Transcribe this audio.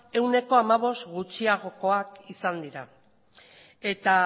ehuneko hamabost gutxiagokoak izan dira eta